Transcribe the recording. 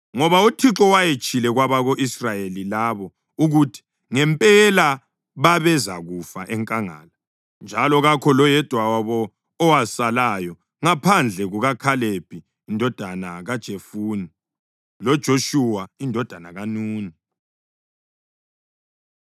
Ngoba uThixo wayetshilo kwabako-Israyeli labo ukuthi ngempela babezakufa enkangala, njalo kakho loyedwa wabo owasalayo ngaphandle kukaKhalebi indodana kaJefune loJoshuwa indodana kaNuni.